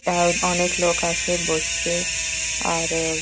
অ্যা অনেক লোক আসে বসতে আরও --